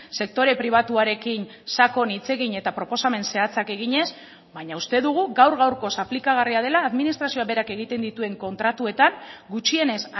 sektore pribatuarekin sakon hitz egin eta proposamen zehatzak eginez baina uste dugu gaur gaurkoz aplikagarria dela administrazioa berak egiten dituen kontratuetan gutxienez